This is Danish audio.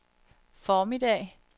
formiddag